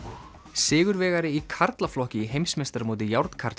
sigurvegari í karlaflokki í heimsmeistaramóti